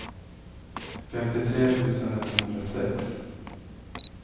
femtiotre tusen etthundrasex